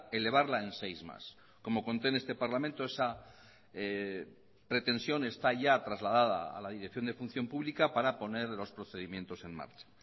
elevarla en seis más como conté en este parlamento esa pretensión está ya trasladada a la dirección de función pública para poner los procedimientos en marcha